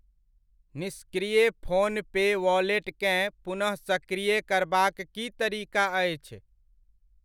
निष्क्रिय PhonePe wallet केँ पुनः सक्रीय करबाक की तरीका अछि?